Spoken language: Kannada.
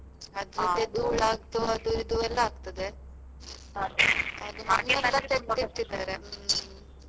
ಅದು ಧೂಳ್ ಆಗ್ತು ಅದು ಇದು ಎಲ್ಲ ಆಗ್ತದೆ .